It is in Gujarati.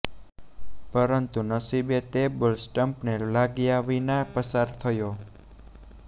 પરંતુ નસીબે તે બોલ સ્ટંપને વાગ્યા વિના પસાર થયો